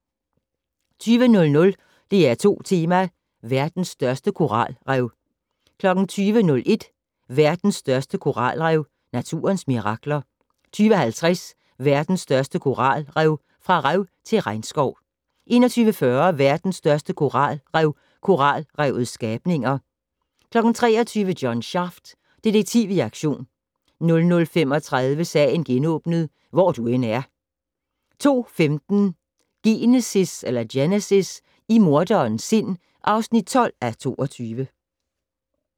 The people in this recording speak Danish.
20:00: DR2 Tema: Verdens største koralrev 20:01: Verdens største koralrev - naturens mirakler 20:50: Verdens største koralrev - fra rev til regnskov 21:40: Verdens største koralrev - koralrevets skabninger 23:00: John Shaft - Detektiv i aktion 00:35: Sagen genåbnet: Hvor du end er 02:15: Genesis - i morderens sind (12:22)